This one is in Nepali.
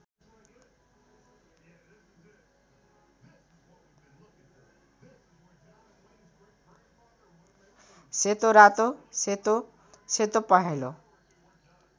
सेतोरातो सेतो सेतोपहेँलो